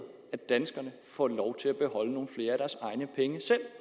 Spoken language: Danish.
at danskerne får lov til at beholde nogle flere af deres egne penge selv